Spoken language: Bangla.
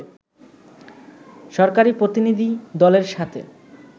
সরকারি প্রতিনিধিদলের সাথে